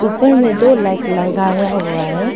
ऊपर में दो लाइट लगाया हुआ है।